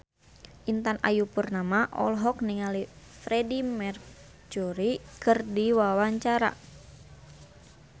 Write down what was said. Intan Ayu Purnama olohok ningali Freedie Mercury keur diwawancara